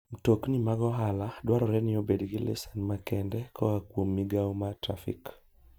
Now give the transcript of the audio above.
Mtokni mag ohala dwarore ni obed gi lisens makende koa kuom migao mar trafik.